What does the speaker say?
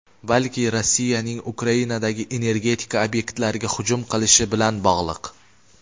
balki Rossiyaning Ukrainadagi energetika obyektlariga hujum qilishi bilan bog‘liq.